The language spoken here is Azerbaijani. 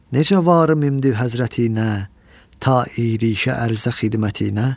Necə varım imdi həzrətinə, ta erişə ərzə xidmətinə?